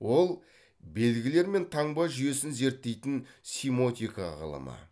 ол белгілер мен таңба жүйесін зерттейтін симотика ғылымы